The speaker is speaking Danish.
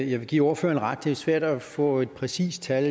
jeg vil give ordføreren ret i at svært at få et præcist tal